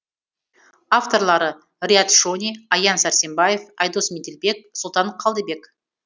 авторлары риат шони аян сәрсенбаев айдос меделбек сұлтан қалдыбек